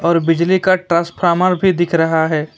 और बिजली का ट्रांसफार्मर भी दिख रहा है।